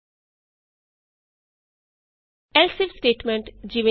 IF else if statement easy